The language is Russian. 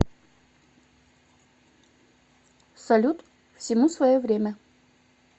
салют всему свое время